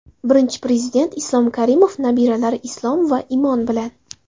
Birinchi Prezident Islom Karimov nabiralari Islom va Imon bilan.